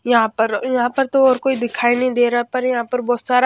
यहां पर यहां पर तो और कोई दिखाई नहीं दे रहा पर यहां पर बहुत सार आ --